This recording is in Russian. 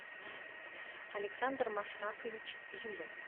александр машрафович зюзин